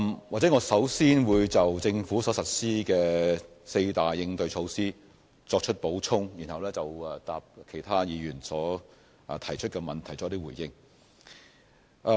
我會先就政府所實施的四大應對措施作出補充，然後就其他議員提出的問題作出回應。